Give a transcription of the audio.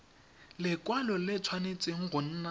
lekwalo le tshwanetse go nna